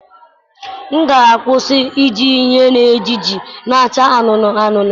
M ga-akwụsị iji ihe eji esiji na-acha anụnụ anụnụ